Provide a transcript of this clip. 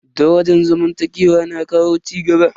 Daraja zamantakewa na kawo cigaba.